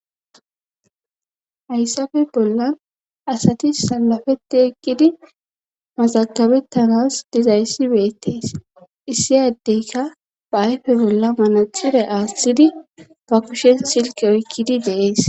Hayssafe bollan asati salafetti eqqidi mazakabettanas dizayssibeettes issiy addeyka baayfe bolla manaxire aashthidi ba kushen silki oykkidi deees